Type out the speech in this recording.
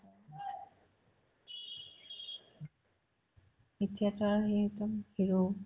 এতিয়াতো আৰ্ সি একদম hero